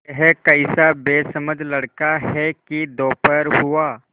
यह कैसा बेसमझ लड़का है कि दोपहर हुआ